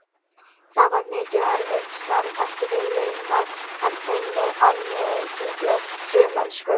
Það var mikið og erfitt starf, ekki vel launað, en unnið af mikilli trúmennsku.